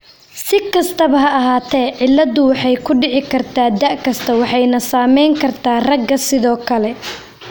Si kastaba ha ahaatee, cilladdu waxay ku dhici kartaa da 'kasta waxayna saameyn kartaa ragga sidoo kale.